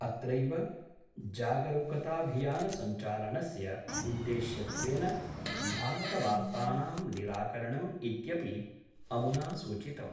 अत्रैव जागरुकताभियान सञ्चालनस्य उद्देश्यत्वेन भ्रामकवार्तानां निराकरणम् इत्यपि अमुना सूचितम्।